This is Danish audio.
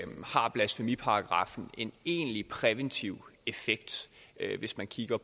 har blasfemiparagraffen en egentlig præventiv effekt hvis man kigger